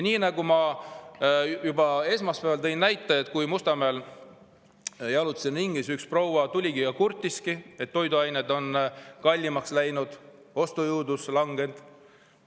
Ma juba esmaspäeval tõin näite, et kui ma jalutasin Mustamäel ringi, siis üks proua tuli ligi ja kurtis, et toiduained on kallimaks läinud ja ostujõudlus langenud.